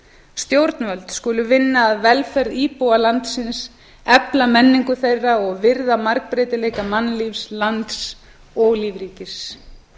stjórnvöld skulu vinna að velferð íbúa landsins efla menningu þeirra og virða margbreytileika mannlífs lands og lífríkis